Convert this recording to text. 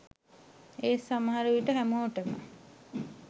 ඒත් සමහර විට හැමෝටම